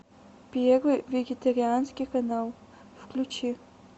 первый вегетарианский канал включи